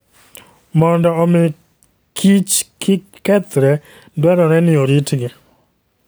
Mondo omi kich kik kethre, dwarore ni oritgi.